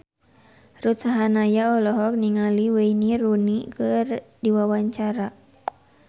Ruth Sahanaya olohok ningali Wayne Rooney keur diwawancara